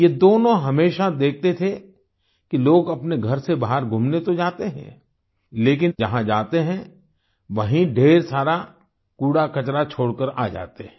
ये दोनों हमेशा देखते थे कि लोग अपने घर से बाहर घूमने तो जाते हैं लेकिन जहाँ जाते हैं वहीँ ढ़ेर सारा कूड़ाकचरा छोड़ कर आ जाते हैं